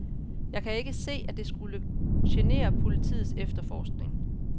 Jeg kan ikke se, at det skulle genere politiets efterforskning.